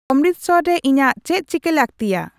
ᱚᱢᱢᱨᱤᱛᱥᱚᱨ ᱨᱮ ᱤᱧᱟᱜ ᱪᱮᱫ ᱪᱤᱠᱟᱹ ᱞᱟᱹᱠᱛᱤᱭᱟ